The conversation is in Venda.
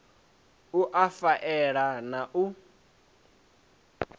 u a faela na u